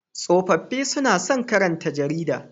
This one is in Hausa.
Tsofaffi suna son karanta jarida.